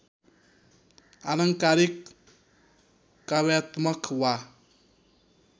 आलङ्कारिक काव्यात्मक वा